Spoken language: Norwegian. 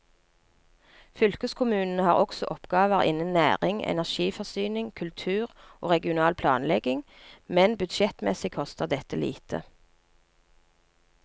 Fylkeskommunene har også oppgaver innen næring, energiforsyning, kultur og regional planlegging, men budsjettmessig koster dette lite.